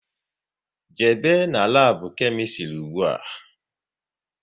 Jebe n'labu Kemistri ụgbụa!